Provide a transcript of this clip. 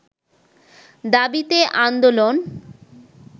দাবিতে আন্দোলন